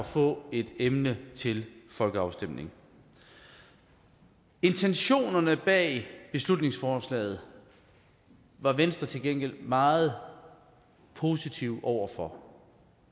få et emne til folkeafstemning intentionerne bag beslutningsforslaget var venstre til gengæld meget positiv over for